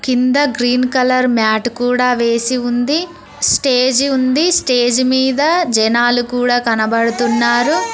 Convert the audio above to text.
కింద green colour mat కూడా వేసి ఉంది స్టేజి ఉంది స్టేజి మీద జనాలు కూడా కనబడుతున్నారు.